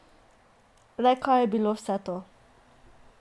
Le kaj je bilo vse to?